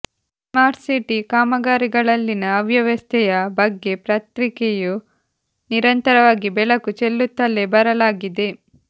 smart city ಕಾಮಗಾರಿಗಳಲ್ಲಿನ ಅವ್ಯವಸ್ಥೆಯ ಬಗ್ಗೆ ಪತ್ರಿಕೆಯು ನಿರಂತರವಾಗಿ ಬೆಳಕು ಚೆಲ್ಲುತ್ತಲೇ ಬರಲಾಗಿದೆ